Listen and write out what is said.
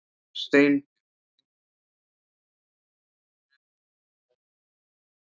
Steinbjörg, heyrðu í mér eftir sjötíu og tvær mínútur.